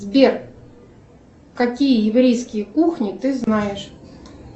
сбер какие еврейские кухни ты знаешь